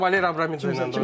sən Valer Abramidze ilə danış.